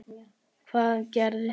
Hvað gerðist svo!?